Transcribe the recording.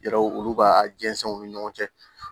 Yɛrɛw olu ka jɛnsɛnw ni ɲɔgɔn cɛ